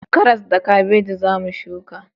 Karas da kabeji za mu shuka